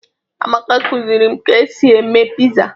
Amaka kụziri m ka e si eme piza.